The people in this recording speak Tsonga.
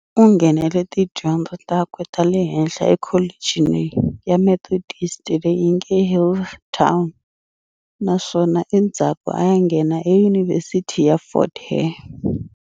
U nghenele tidyondzo takwe tale henhla ekholechini ya Methodist le yinge Healdtown naswona endzaku aya nghena eYunivhesithi ya Fort Hare.